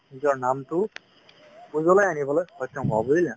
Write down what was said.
নিজৰ নামটো আনিবলৈ সক্ষম হ'বা বুজিলা